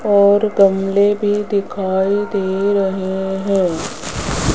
और गमले भी दिखाई दे रहे है।